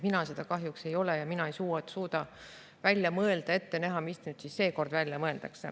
Mina seda kahjuks ei ole ja mina ei suuda välja mõelda ega ette näha, mis siis nüüd seekord välja mõeldakse.